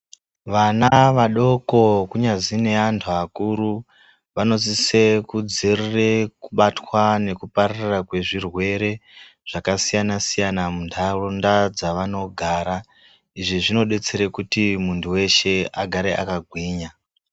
Vana vadoko kunyazi nevantu vakuru vanosise kudzivirira kubatwa nekupararire kwezvirwere zvakasiyana siyana muntaraunda kwavanogara izvi zvinodetsera kuti muntu weshe agare akagwinya.